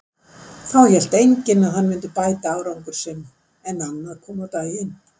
Þá hélt enginn að hann myndi bæta árangur sinn, en annað kom á daginn.